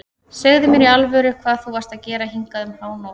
Segðu mér í alvöru hvað þú varst að gera hingað um hánótt.